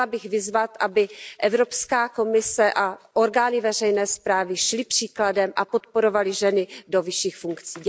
Chtěla bych vyzvat, aby Evropská komise a orgány veřejné správy šly příkladem a podporovaly ženy do vyšších funkcí.